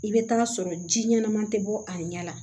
I bɛ taa sɔrɔ ji ɲɛnama tɛ bɔ a ɲɛ la